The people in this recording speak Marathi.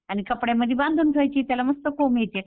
आणि कपड्यामध्ये बांधून ठेवायची त्याला मस्त कोंब येत्यात.